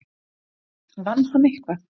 Vann hann eitthvað?